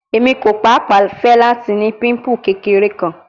Emi ko paapaa fẹ lati ni pimple kekere kan